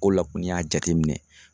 K'o la ko n'i y'a jateminɛ